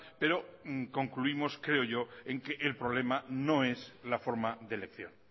pero concluimos creo yo en que el problema no es la forma de elección